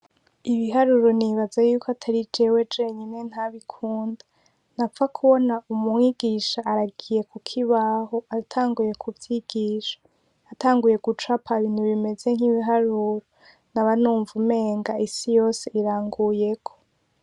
Ibiharuro nibaza yuko atari jewe jenyene ntibikunda, napfa kubona umwigisha aragiye kukibaho atanguye kuvyigisha, atanguye gucapa ibintu bimeze nk'ibiharuro naba numva umenga isi yose iranguyeko.